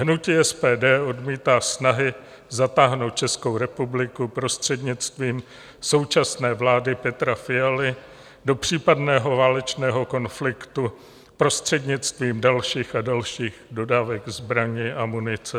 Hnutí SPD odmítá snahy zatáhnout Českou republiku prostřednictvím současné vlády Petra Fialy do případného válečného konfliktu prostřednictvím dalších a dalších dodávek zbraní a munice.